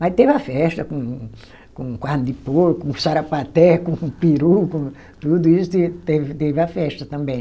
Mas teve a festa com com carne de porco, com sarapatel, com peru, com tudo isso e teve teve a festa também.